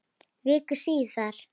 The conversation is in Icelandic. Viku síðar.